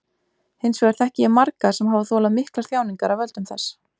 Hins vegar þekki ég marga sem hafa þolað miklar þjáningar af völdum þess.